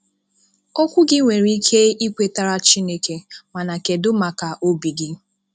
Okwù gị nwere ike ị̀kwètàrà Chínèké, mana kedụ maka obi gị?